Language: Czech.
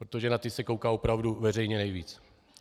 Protože na ty se kouká opravdu veřejně nejvíc.